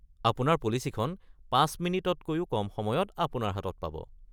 আপোনাৰ পলিচিখন ৫ মিনিটতকৈও কম সময়ত আপোনাৰ হাতত পাব।